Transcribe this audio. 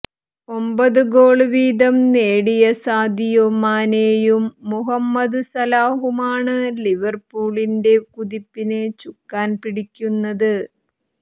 ഒമ്പത് ഗോള് വീതം നേടിയ സാദിയോ മാനെയും മുഹമ്മദ് സലാഹുമാണ് ലിവര്പൂളിന്റെ കുതിപ്പിന് ചുക്കാന് പിടിക്കുന്നത്